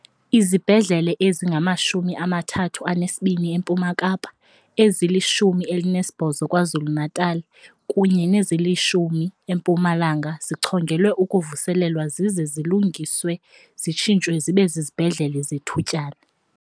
Izibhedlele ezingama-32 eMpuma Kapa, ezili-19 Kwa-Zulu Natala kunye nezili-10 eMpumalanga zichongelwe ukuvuselelwa zize zilungiswe zitshintshwe zibe zizibhedlele zethutyana.